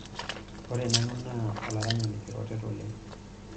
ore nanu naa olaranyani kiroret oleng'